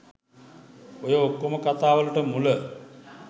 ඔය ඔක්කොම කතාවලට මුල